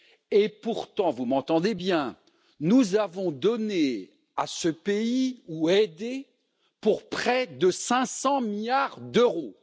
Et pourtant, vous m'entendez bien, nous avons donné à ce pays, ou nous l'avons aidé, pour près de 500 milliards d'euros.